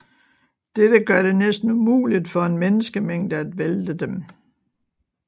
Dette gør det næsten umuligt for en menneskemængde at vælte dem